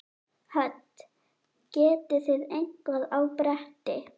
Hödd: Getið þið eitthvað á bretti?